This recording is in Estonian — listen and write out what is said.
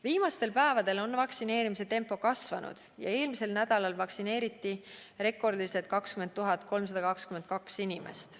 Viimastel päevadel on vaktsineerimise tempo kasvanud ja eelmisel nädalal vaktsineeriti rekordilised 20 322 inimest.